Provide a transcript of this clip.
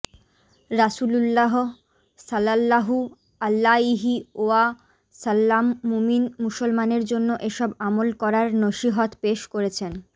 রাসুলুল্লাহ সাল্লাল্লাহু আলাইহি ওয়া সাল্লাম মুমিন মুসলমানের জন্য এসব আমল করার নসিহত পেশ করেছেন